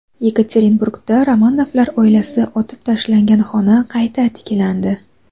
Yekaterinburgda Romanovlar oilasi otib tashlangan xona qayta tiklandi.